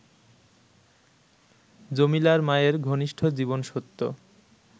জমিলার মায়ের ঘনিষ্ঠ জীবনসত্য